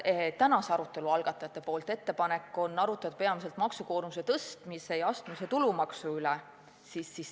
Tänase arutelu algatajate ettepanek on arutada peamiselt maksukoormuse suurendamise ja astmelise tulumaksu üle.